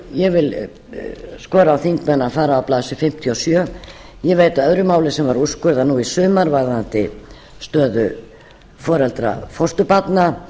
ég vil skora á þingmenn að fara á blaðsíðu fimmtíu og sjö ég veit af öðru máli sem var úrskurðað nú í sumar varðandi stöðu foreldra fósturbarna